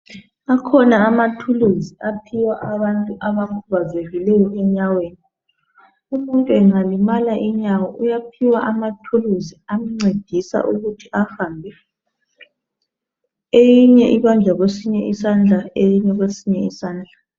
Akhona ama thuluzi aphiwa abantu abakhubazekileyo enyaweni. Umuntu engalimala inyawo uyaphiwa ama thuluzi amncedisa ukuthi ahambe. Eyinye ibanjwa kwesinye isandla, eyinye kwesinye izandla.